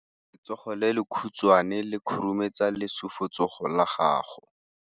Letsogo le lekhutshwane le khurumetsa lesufutsogo la gago.